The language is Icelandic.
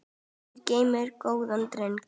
Guð geymir góðan dreng.